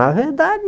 Na verdade...